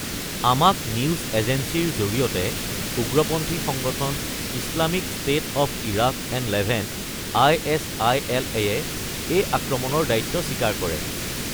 আমাক নিউজ এজেন্সীৰ জৰিয়তে উগ্ৰপন্থী সংগঠন Islamic State of Iraq and Levant (আই.এছ.আই.এল.)য়ে এই আক্ৰমণৰ দায়িত্ব স্বীকাৰ কৰে।